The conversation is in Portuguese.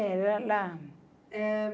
Era lá.